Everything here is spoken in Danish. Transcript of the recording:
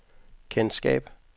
kendskab